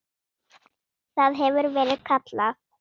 Það hefur verið kallað